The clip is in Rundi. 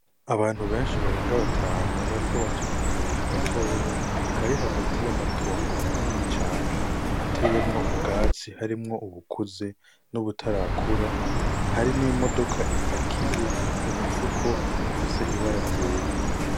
Abantu benshi barenga batanu bariko baca mu kayira gatoya; kari hagati y'amatongo manini cane ateyemwo ubwatsi harimwo ubukuze n'ubutarakura, hari n'imodoka ipakiye imifuko iifise ibara ryera.